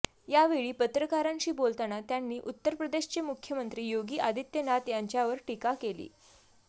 यावेळी पत्रकारांशी बोलताना त्यांनी उत्तर प्रदेशचे मुख्यमंत्री योगी आदीत्यनाथ यांच्यावर टीका केली